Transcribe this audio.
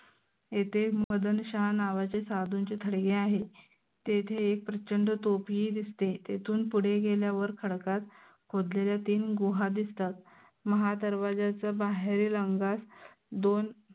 येथे मदनशाहा नावाच्या साधूंचे थडगे आहेत. तेथे एक प्रचंड तोफीही दिसते. तेथून पुढे गेल्यावर खडकात खोदलेल्या तीन गुहा दिसतात महादरवाज्याच्या बाहेरील अंगास दोन